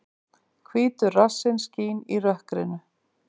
Hvítur rassinn skín í rökkrinu.